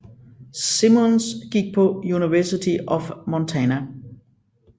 Simmons gik på University of Montana